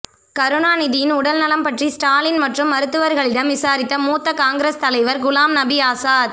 கருணாநிதியின் உடல்நலம் பற்றி ஸ்டாலின் மற்றும் மருத்துவர்களிடம் விசாரித்த மூத்த காங்கிரஸ் தலைவர் குலாம் நபி ஆசாத்